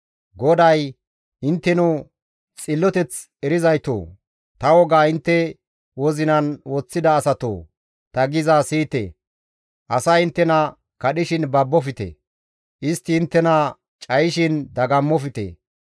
GODAY, «Intteno xilloteth erizaytoo, ta wogaa intte wozinan woththida asatoo ta gizaa siyite. Asay inttena kadhishin babbofte; istti inttena cayishin dagammofte.